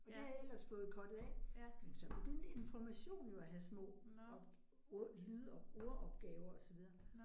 Og det havde jeg ellers fået cuttet af, men så begyndte Information jo at have små lyd- og ordopgaver og så videre